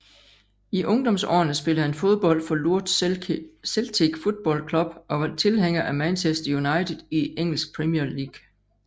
I ungdomsårene spillede han fodbold for Lourdes Celtic Football Club og var tilhænger af Manchester United i engelsk Premier League